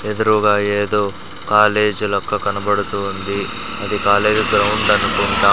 ఎదురూగా ఎదో కాలేజ్ లెక్క కనబడుతూ ఉంది అది కాలేజ్ గ్రౌండ్ అనుకుంటా --